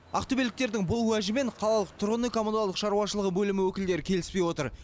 ақтөбеліктердің бұл уәжімен қалалық тұрғын үй коммуналдық шаруашылығы бөлімі өкілдері келіспей отыр